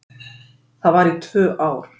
Það var í tvö ár.